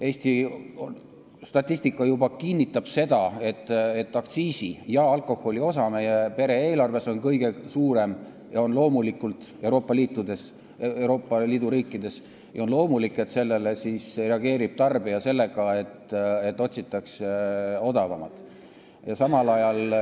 Eesti statistika juba kinnitab seda, et võrreldes teiste Euroopa Liidu riikidega on aktsiisi ja alkoholi osa meie perede eelarves kõige suurem ja on loomulik, et sellele reageerib tarbija sellega, et otsitakse odavamat kaupa.